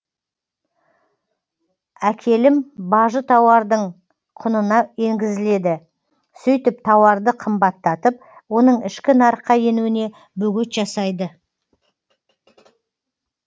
әкелім бажы тауардың құнына енгізіледі сөйтіп тауарды қымбаттатып оның ішкі нарыққа енуіне бөгет жасайды